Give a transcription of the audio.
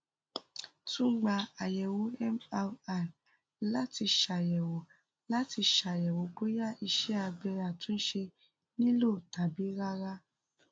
tun gba ayẹwo mri lati ṣayẹwo lati ṣayẹwo boya iṣẹ abẹ atunṣe nilo tabi rara